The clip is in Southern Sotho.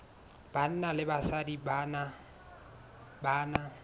banna le basadi ba na